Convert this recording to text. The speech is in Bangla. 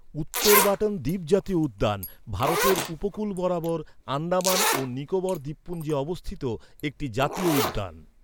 উত্তর বাটন দ্বীপ জাতীয় উদ্যান ভারতের উপকূল বরাবর আন্দামান ও নিকোবর দ্বীপপুঞ্জে অবস্থিত একটি জাতীয় উদ্যান।